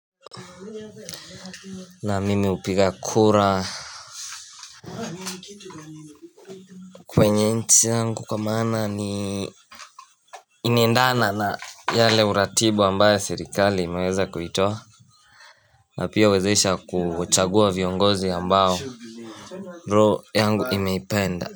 Naam mimi hupiga kura kwenye nchi yangu kwa masna ni inaendana na yale uratibu ambaye serikali imeweza kuitoa na pia huwezesha kuchagua viongozi ambao roho yangu imeipenda.